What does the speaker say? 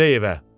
gedək evə.